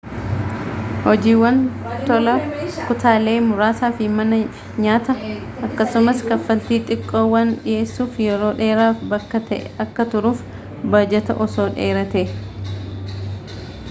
hojiiwwan tolaa kutaalee muraasa fi manaa fi nyaata akkasumas kafaltii xiqqoo waan dhiheessuuf yeroo dheeraaf bakka ta'e akka turuuf baajata osoo dheeratee